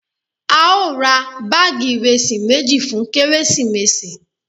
Ao ra baagi iresi meji fun keresimesi